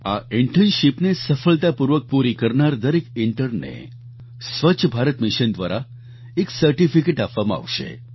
આ ઈન્ટર્નશિપને સફળતાપૂર્વક પૂરી કરનારા દરેક ઈન્ટર્નને સ્વચ્છ ભારત મિશન દ્વારા એક સર્ટીફિકેટ આપવામાં આવશે